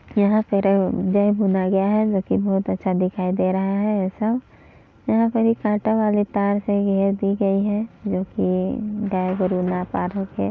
यहाँ पे रै गए भुना गया है जो कि बहुत अच्छा दिखाई दे रहा है सब यहाँ पे एक काटा वाले तार लगी है दी गई है जो कि गाय गरु न पार होके --